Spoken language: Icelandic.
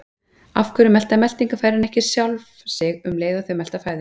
Af hverju melta meltingarfærin ekki sjálf sig um leið og þau melta fæðu?